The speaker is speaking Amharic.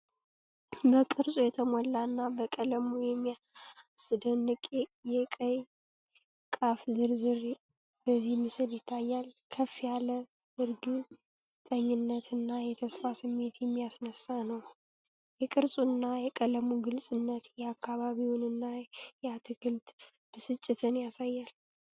በቅርጹ የተሞላ እና በቀለሙ የሚያስደንቅ የቀይ ቃፍ ዝርዝር በዚህ ምስል ይታያል። ከፍ ያለ እርግጠኝነት እና የተስፋ ስሜት የሚያስነሳ ነው። የቅርጹ እና የቀለሙ ግልጽነት የአካባቢውን እና የአትክልት ብስጭትን ያሳያል።